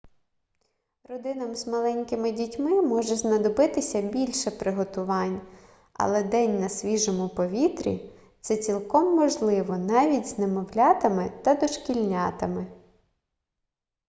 родинам з маленькими дітьми може знадобитися більше приготувань але день на свіжому повітрі це цілком можливо навіть з немовлятами та дошкільнятами